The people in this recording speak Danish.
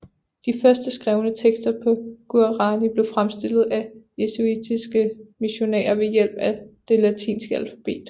De første skrevne tekster på guaraní blev fremstillet af jesuitiske missionærer ved hjælp af det latinske alfabet